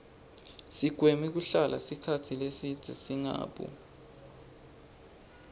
sigweme kuhlala sikhatsi lesibze singabu